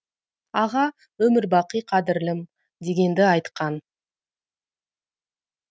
аға өмірбақи қадірлім дегенді айтқан